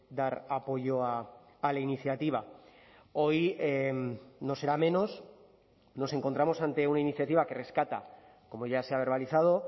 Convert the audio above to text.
dar apoyo a la iniciativa hoy no será menos nos encontramos ante una iniciativa que rescata como ya se ha verbalizado